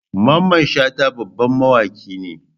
Mamman Shata babban mawaki ne.